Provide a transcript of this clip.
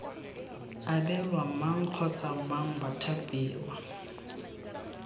abelwa mang kgotsa mang bathapiwa